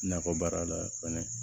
Nakɔ baara la fɛnɛ